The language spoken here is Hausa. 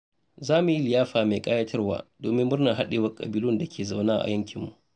Za mu yi liyafa mai ƙayatarwa domin murnar haɗewar ƙabilun da ke zaune a yankinmu.